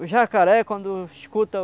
O jacaré, quando escuta o...